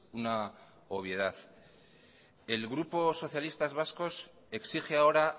una obviedad el grupo socialistas vascos exige ahora